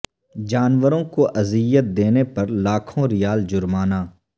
جانوروں کو اذیت دینے پر لاکھوں ریال جرمانہ